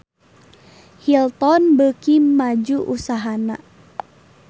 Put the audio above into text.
Hilton beuki maju usahana